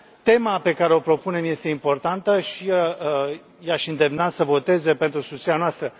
Tema pe care o propunem este importantă și i aș îndemna să voteze pentru susținerea noastră.